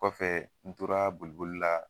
Kɔfɛ n tora boliboli la